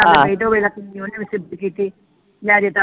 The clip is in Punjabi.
ਤੇ ਉਹ ਵੇਖ ਲਾ ਕਿੰਨੀ ਯੋਗ ਸਿਫਤ ਕੀਤੀ ਮੈਂ